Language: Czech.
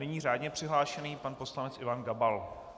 Nyní řádně přihlášený pan poslanec Ivan Gabal.